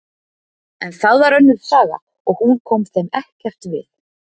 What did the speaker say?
En það var önnur saga og hún kom þeim ekkert við.